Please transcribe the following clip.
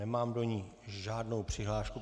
Nemám do ní žádnou přihlášku.